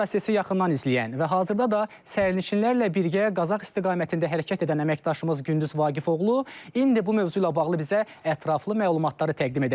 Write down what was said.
Prosesi yaxından izləyən və hazırda da sərnişinlərlə birgə Qazax istiqamətində hərəkət edən əməkdaşımız Gündüz Vaqifoğlu indi bu mövzu ilə bağlı bizə ətraflı məlumatları təqdim edəcək.